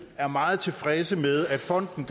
er meget tilfreds med at fonden